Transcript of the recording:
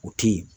U tɛ ye